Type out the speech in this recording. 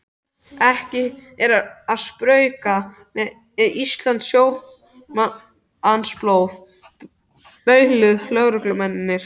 Ekki er að spauga með íslenskt sjómannsblóð bauluðu lögreglumennirnir.